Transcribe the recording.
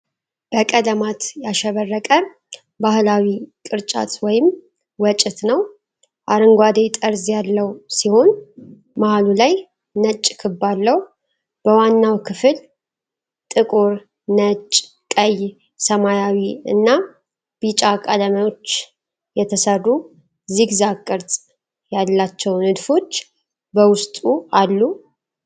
በቀለማት ያሸበረቀ ባህላዊ ቅርጫት ወይም ወጭት ነው። አረንጓዴ ጠርዝ ያለው ሲሆን፣ መሃሉ ላይ ነጭ ክብ አለው። በዋናው ክፍል ጥቁር፣ ነጭ፣ ቀይ፣ ሰማያዊ እና ቢጫ ቀለሞች የተሰሩ ዚግዛግ ቅርጽ ያላቸው ንድፎች በውስጡ አሉ።